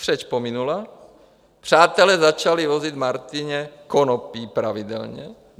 Křeč pominula, přátelé začali vozit Martině konopí pravidelně.